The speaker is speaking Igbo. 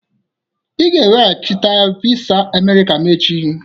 Ịga-eweghachite visa Amerika m echi!